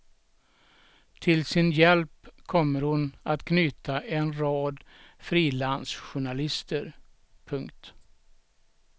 Till sin hjälp kommer hon att knyta en rad frilansjournalister. punkt